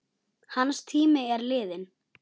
Hans tími er liðinn.